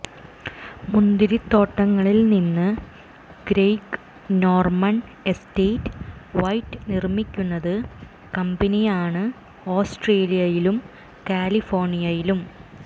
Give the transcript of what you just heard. മുന്തിരിത്തോട്ടങ്ങളിൽ നിന്ന് Greg Norman estate white നിർമ്മിക്കുന്നത് കമ്പനിയാണ് ഓസ്ട്രേലിയയിലും കാലിഫോർണിയയിലും